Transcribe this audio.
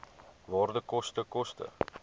waarde koste koste